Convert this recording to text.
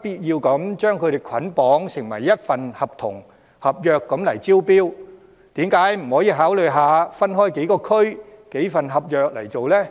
必要將所有工程捆綁成為一份合約招標，為何不考慮一份合約涵蓋幾個地區的工程，這樣便可批出多份合約？